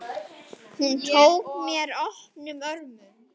Bara: Ég veit.